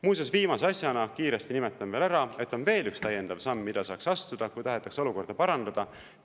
Muuseas, viimase asjana kiiresti nimetan veel ära, et on veel üks täiendav samm, mida saaks astuda, kui tahetakse olukorda parandada.